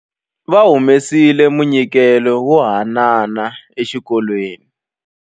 Va humesile munyikelo wo haanana exikolweni.